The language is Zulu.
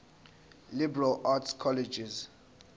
liberal arts colleges